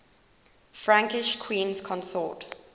frankish queens consort